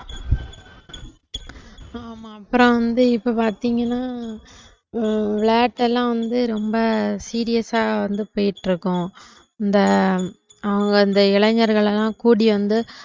ஆமா அப்புறம் வந்து இப்ப பார்த்தீங்கன்னா விளையாட்டு எல்லாம் வந்து ரொம்ப serious ஆ வந்து போயிட்டு இருக்கோம் இந்த அவங்க இந்த இளைஞர்கள் எல்லாம் கூடி வந்து